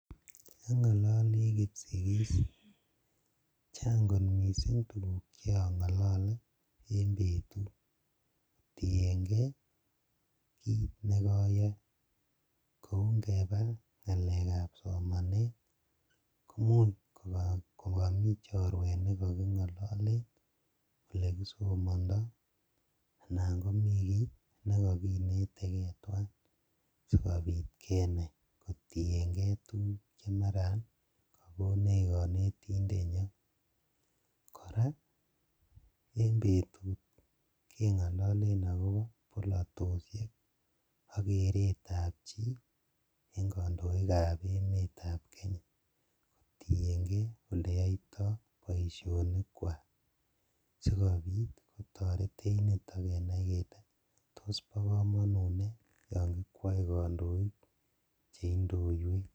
Omg'ololii kipsigis chang kot mising tukuk Chong'olole en betut kotieng'ee kiit nekoyoe kouu ng'ebaa ng'alekab somanet koimuuch komomii chorwet nekoking'ololen olekisomondo anan komii kii nekokinetekee twaan sikobiit kenaii kotieng'e tukuk chemaran kokonech konetindenyon, kora en betut keng'ololen akoboo bolotoshek akeretab chii en kondoikab emetab kenya kotieng'ee oleyoito boishonikwak sikobiit kotoretech niton kenaii kelee toos bokomonut nee yoon kikwoe kondoik cheindoiwech.